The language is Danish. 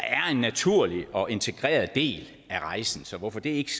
en naturlig og integreret del af rejsen så hvorfor det ikke